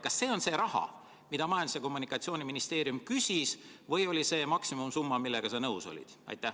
Kas see on see raha, mida Majandus- ja Kommunikatsiooniministeerium küsis, või oli see maksimumsumma, millega sa nõus olid?